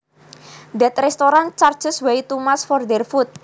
That restaurant charges way too much for their food